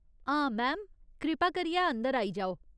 हां, मैम, कृपा करियै अंदर आई जाओ।